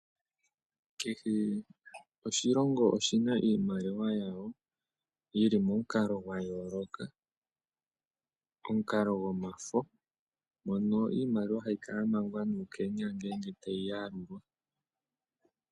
Kehe oshilongo oshi na iimaliwa yasho yi li momukalo gwayooloka, omukalo gwomafo mono iimaliwa hayi kala ya mangwa nuukenya ngele tayi yalulwa.